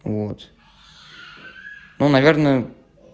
вот ну наверное